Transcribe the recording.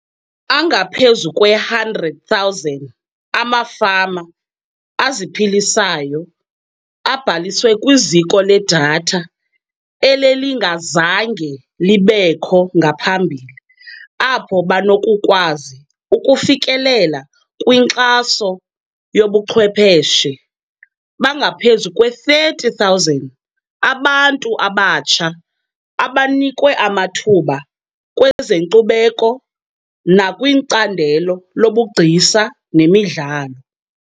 Angaphezu kwe-100 000 amafama aziphilisayo abhaliswe kwiziko ledatha elelingazange libekho ngaphambili apho banokukwazi ukufikelela kwinkxaso ngobuchwephetshe. Bangaphezu kwe-30 000 abantu abatsha abanikwe amathuba kwezenkcubeko nakwicandelo lobugcisa nemidlalo.